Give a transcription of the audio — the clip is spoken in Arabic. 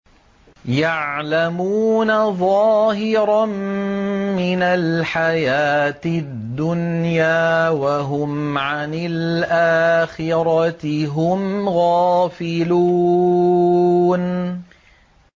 يَعْلَمُونَ ظَاهِرًا مِّنَ الْحَيَاةِ الدُّنْيَا وَهُمْ عَنِ الْآخِرَةِ هُمْ غَافِلُونَ